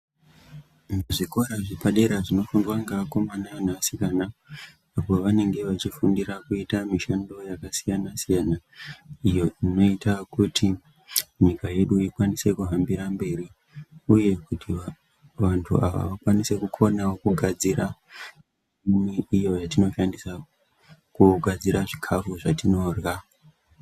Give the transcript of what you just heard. Zvikora zvepadera zvinofundwa ngeakomana neasikana apo pavanenge vachifundira kuita mishando yakasiyana siyana iyo inoita kuti nyika yedu ikwanise kuhambira mberi uye kuti vantu ava vakwanise kukonawo kugadzira yatinoshandisa kugadzira chikafu zvatinorya.